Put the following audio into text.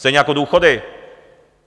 Stejně jako důchody.